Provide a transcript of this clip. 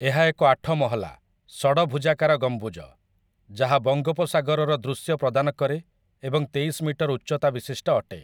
ଏହା ଏକ ଆଠ ମହଲା, ଷଡ଼ଭୁଜାକର ଗମ୍ବୁଜ, ଯାହା ବଙ୍ଗୋପସାଗରର ଦୃଶ୍ୟ ପ୍ରଦାନ କରେ ଏବଂ ତେଇଶ ମିଟର ଉଚ୍ଚତା ବିଶିଷ୍ଟ ଅଟେ ।